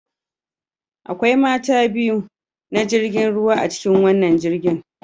Akwai mata biyu na jirgin ruwa a cikin wannan jirgin